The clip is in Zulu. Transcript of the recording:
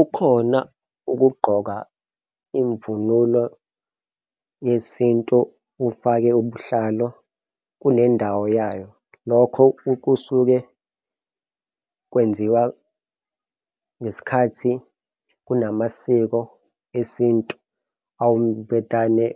Ukhona ukugqoka imvunulo yesintu ufake ubuhlalo kune ndawo yayo. Lokho kusuke kwenziwa ngesikhathi kunamasiko esintu. Awuvedane